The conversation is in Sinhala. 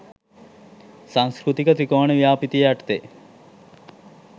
සංස්කෘතික ත්‍රිකෝණ ව්‍යාපෘතිය යටතේ